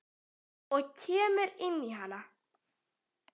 Og kemur inn í hana.